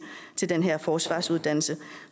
til den her forsvarsuddannelse